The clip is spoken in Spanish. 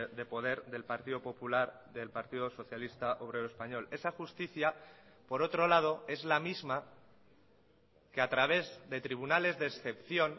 de poder del partido popular del partido socialista obrero español esa justicia por otro lado es la misma que a través de tribunales de excepción